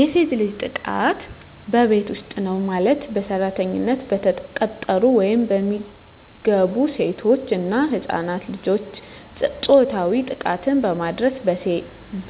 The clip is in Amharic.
የሴት ልጅ ጥቃት በቤት ዉስጥ ነዉ ማለትም በሰራተኛነት የተቀጠሩ ወይም የሚገቡሴቶች እና ህፃናት ልጆችን ፆታዊ ጥቃትን በማድረስ